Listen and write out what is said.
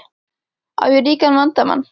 Á ég ríkan vandamann?